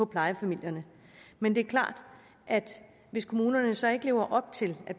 plejefamilierne men det er klart at hvis kommunerne så ikke lever op til at